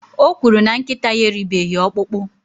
o kwuru na nkịta ya eribeghị ọkpụkpụ